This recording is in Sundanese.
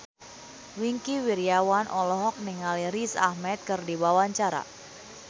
Wingky Wiryawan olohok ningali Riz Ahmed keur diwawancara